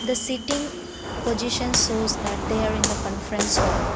the sitting position shows that they are in the conference hall.